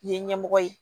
Ye ɲɛmɔgɔ ye